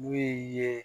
Min ye